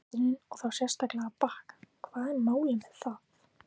Upphitunin og þá sérstaklega að bakka, hvað er málið með það!?!?